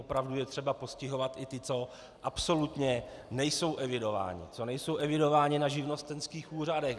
Opravdu je třeba postihovat i ty, co absolutně nejsou evidováni, co nejsou evidováni na živnostenských úřadech.